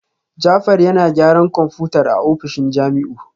Jafar yana gyaran kwamfutar a ofishin Jamiu